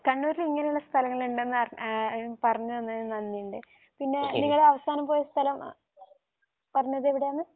കണ്ണൂരിൽ ഇങ്ങനെ ഉള്ള സ്ഥലങ്ങൾ ഉണ്ടെന്ന് ആഹ് പറഞ്ഞു തന്നതിന് നന്ദി ഉണ്ട്. പിന്നെ നിങ്ങൾ അവസാനം പോയ സ്ഥലം പറഞ്ഞതെവിടെയാണ്